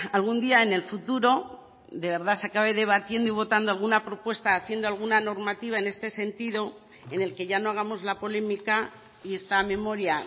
algún día en el futuro de verdad se acabe debatiendo y votando alguna propuesta haciendo alguna normativa en este sentido en el que ya no hagamos la polémica y esta memoria